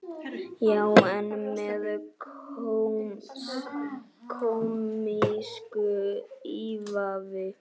Já, en með kómísku ívafi.